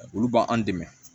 Olu b'an dɛmɛ